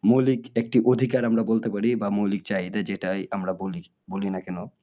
মৌলিক একটি অধিকার আমরা বলতে পারি বা মৌলিক চাহিদা যেটাই আমরা বলি, বলি না কেন